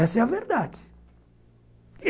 Essa é a verdade.